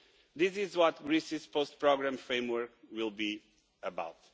This is what Greece's post-programme framework will be about.